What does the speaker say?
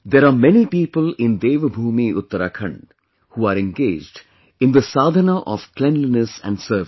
There are many people in Devbhoomi Uttarakhand who are engaged in the 'sadhana' of cleanliness and service